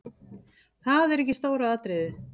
Það er ekki stóra atriðið.